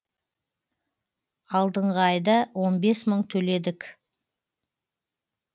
алдыңғы айда он бес мың төледік